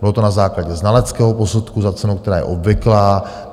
Bylo to na základě znaleckého posudku za cenu, která je obvyklá.